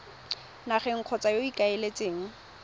nageng kgotsa yo o ikaeletseng